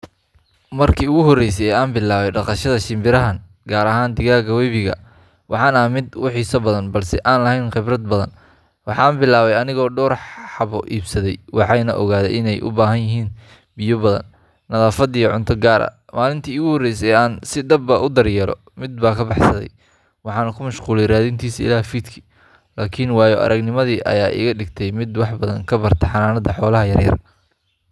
Markii ugu horreysay ee aan bilaabay dhaqashada shinbirahan, gaar ahaan digaagga webiga, waxaan ahaa mid aad u xiiso badan balse aan lahayn khibrad badan. Waxaan bilaabay anigoo dhowr xabo iibsaday, waxaanan ogaaday in ay u baahan yihiin biyo badan, nadaafad, iyo cunto gaar ah. Maalintii iigu horreysay ee aan si dhab ah u daryeelo, mid baa ka baxsaday, waxaana ku mashquulay raadintiisa ilaa fiidkii! Laakiin waayo aragnimadaas ayaa iga dhigtay mid wax badan ka barta xanaanada xoolaha yaryar.